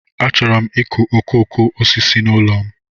Achọrọ m ịkụ okooko osisi n'ụlọ m.